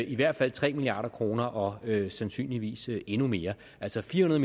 i hvert fald tre milliard kroner og sandsynligvis endnu mere altså fire